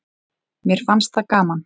Mér fannst það gaman.